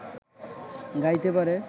গাইতে পারে